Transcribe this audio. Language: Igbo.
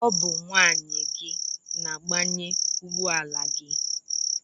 Ọ bụ nwunye gị na-agbanye ugbọala gị.